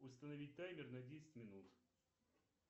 установить таймер на десять минут